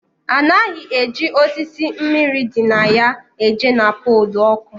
A naghị eji osisi mmiri dị na ya eje na polu oku